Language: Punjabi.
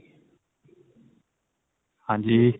ਹਾਂਜੀ